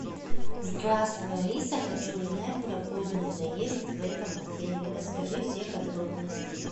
здравствуй алиса хочу узнать про поздний заезд в этом отеле расскажи все подробности